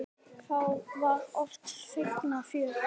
Þá var oft feikna fjör.